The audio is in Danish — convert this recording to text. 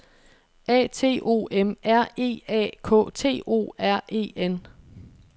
A T O M R E A K T O R E N